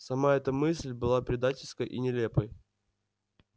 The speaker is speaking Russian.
сама эта мысль была предательской и нелепой